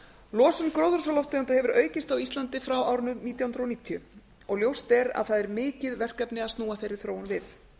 losun gróðurhúsalofttegunda hefur aukist á íslandi frá árinu nítján hundruð níutíu og ljóst er að það er mikið verkefni að snúa þeirri þróun við